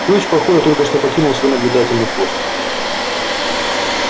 филч похоже только что покинул свой наблюдательный пост